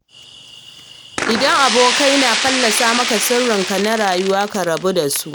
Idan abokai na fallasa maka sirrinka na rayuwa ka rabu da su.